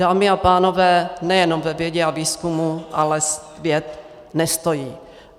Dámy a pánové, nejenom na vědě a výzkumu ale svět nestojí.